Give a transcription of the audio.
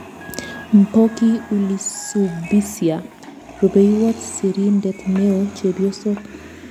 Mpoki Ulisubisya. Rupeiywot sirindeet neo-chepyoso